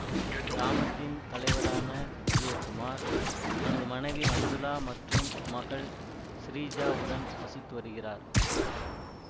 கிராமத்தின் தலைவரான விஜயகுமார் தனது மனைவி மஞ்சுளா மற்றும் மகள் ஸ்ரீஜா உடன் வசித்து வருகிறார்